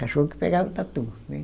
Cachorro que pegava o tatu, né.